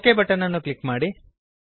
okay button ಅನ್ನು click ಮಾಡಿ